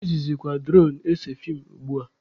Ejizikwa duronu ese feem ugbua.